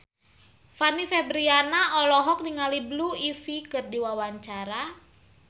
Fanny Fabriana olohok ningali Blue Ivy keur diwawancara